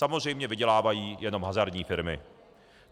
Samozřejmě vydělávají jenom hazardní firmy.